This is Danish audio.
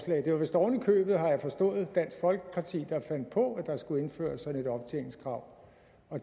det var vist oven i købet har jeg forstået dansk folkeparti der fandt på at der skulle indføres sådan et optjeningskrav